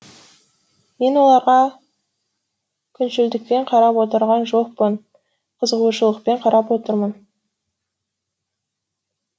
мен оларға күншілдікпен қарап отырған жоқпын қызығушылықпен қарап отырмын